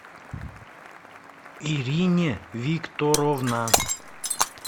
ирине викторовна